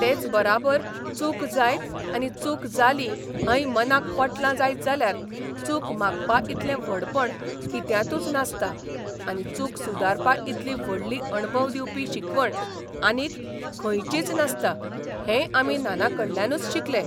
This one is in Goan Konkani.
तेच बराबर चूक जायत आनी चूक जाली हें मनाक पटलां जायत जाल्यार चूक मागपा इतलें व्हडपण कित्यांतूच नासता आनी चूक सुदारपा इतली व्हडली अणभव दिवपी शिकवण आनीक खंयचीच नासता हेंय आमी नानाकडल्यानूच शिकले.